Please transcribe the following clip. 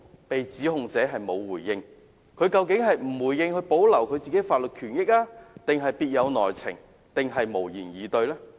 被指控者不作回應，究竟是為了保護自己的法律權益，抑或別有內情，還是無言以對？